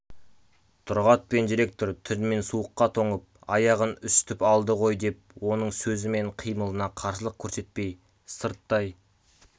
тұрғат пен директор түнімен суыққа тоңып аяғын үсітіп алды ғой деп оның сөзі мен қимылына қарсылық көрсетпей сырттай